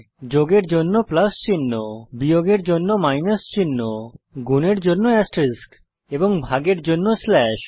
যোগের জন্য প্লাস চিহ্ন বিয়োগের জন্য মাইনাস চিহ্ন গুনের জন্য এস্টেরিস্ক এবং ভাগের জন্য স্লাশ